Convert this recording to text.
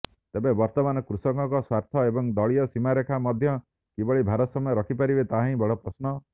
ତେବେ ବର୍ତ୍ତମାନ କୃଷକଙ୍କ ସ୍ବାର୍ଥ ଏବଂ ଦଳୀୟ ସୀମାରେଖା ମଧ୍ୟରେ କିଭଳି ଭାରସାମ୍ୟ ରଖିପାରିବେ ତାହାହିଁ ବଡ଼ ପ୍ରଶ୍ନ